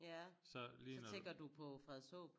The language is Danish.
Ja så tænker du på Frederikshåb?